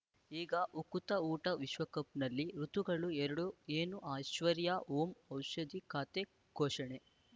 ಈಗ ಉಕುತ ಊಟ ವಿಶ್ವಕಪ್‌ನಲ್ಲಿ ಋತುಗಳು ಎರಡು ಏನು ಅಐಶ್ವರ್ಯಾ ಓಂ ಔಷಧಿ ಖಾತೆ ಘೋಷಣೆ